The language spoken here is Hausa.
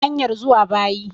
Ina hanyar zuwa bayi